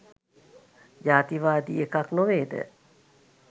ජාතිවාදී එකක් නොවේද?